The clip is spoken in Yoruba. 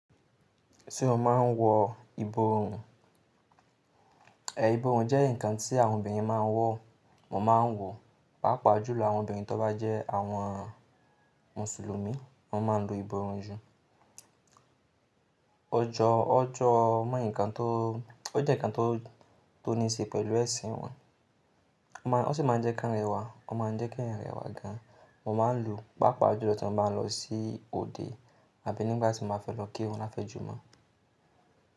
Ṣé o máa ń wọ ìborùn? Ẹ̀ ìborùn jẹ́ ǹkan tí àwọn obìnrin máa ń wọ, mo máa ń wọ̀. Pápa jùlọ àwọn obìnrin tó bá jẹ́ àwọn mùsùlùmí wọ́n máa ń lu ìborùn ju. O jọ, ó jẹ́ ǹkan tó ní ṣe pẹ̀lú ẹṣin wọn. Wọ́n sì máa ń jẹ́ káǹrẹ́wa, o máa ń jẹ́ ka èèyàn rẹ́wa gan. Mo máa ń lo pààpàà jùlọ tí mo bá lọ sí òde àbí nígbà tí mo fẹ́ lọ kírun lafẹ́jùmọ̀.